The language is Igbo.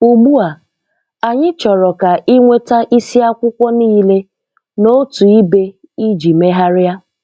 Ugbu a, anyị chọrọ ka ị nweta isiakwụkwọ niile n'otu ibe iji megharịa